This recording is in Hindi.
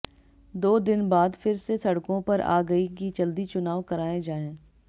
दो दिन बाद फिर से सड़कों पर आ गई कि जल्दी चुनाव कराए जाएं